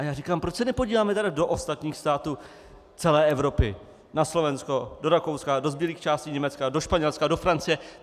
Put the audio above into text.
A já říkám - proč se nepodíváme tedy do ostatních států celé Evropy, na Slovensko, do Rakouska, do zbylých částí Německa, do Španělska, do Francie?